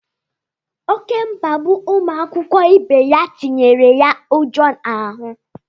Oké mkpagbu ụmụ akwụkwọ ibe ya tinyere ya ụjọ n'ahụ.